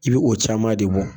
I b bɛ o caman de bɔ